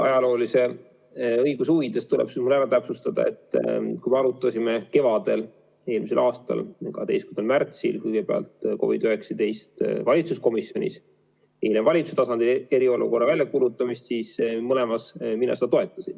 Ajaloolise õiguse huvides tuleks võib-olla täpsustada, et kui me arutasime eelmise aasta kevadel, 12. märtsil kõigepealt COVID-19 valitsuskomisjonis, hiljem valitsuse tasandil eriolukorra väljakuulutamist, siis mõlemas mina seda toetasin.